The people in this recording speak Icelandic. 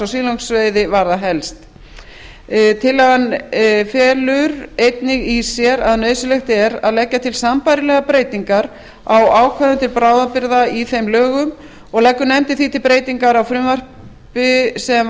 silungsveiði varða helst tillagan felur því einnig í sér að nauðsynlegt er að leggja til sambærilegar breytingar á ákvæðum til bráðabirgða í þeim lögum og leggur nefndin því til breytingar á frumvarpi sem